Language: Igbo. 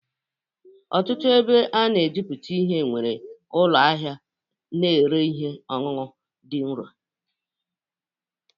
Ọtụtụ ebe a na-ejuputa ihe nwere ụlọ ahịa na-ere ihe ọṅụṅụ dị nro